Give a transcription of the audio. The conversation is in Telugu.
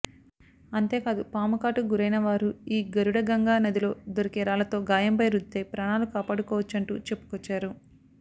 అంతేకాదు పాముకాటుకు గురైన వారు ఈ గరుడగంగా నదిలో దొరికే రాళ్లతో గాయంపై రుద్దితే ప్రాణాలు కాపాడుకోవచ్చంటూ చెప్పుకొచ్చారు